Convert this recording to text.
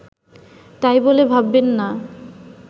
তাই বলে ভাববেন না